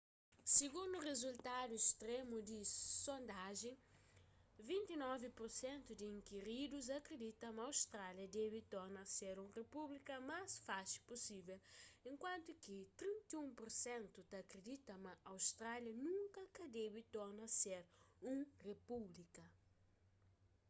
sigundu rizultadu stremu di sondajen 29 pur sentu di inkiridus akridita ma austrália debe torna ser un ripúblika más faxi pusível enkuantu ki 31 pur sentu ta akridita ma austrália nunka ka debe torna ser un repúblika